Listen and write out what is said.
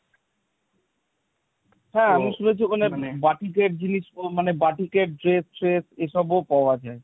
হ্যাঁ আমি শুনেছি ওখানে বাটিকের জিনিস মানে বাটিকেট, dress ট্রেস এসবও পাওয়া যায়।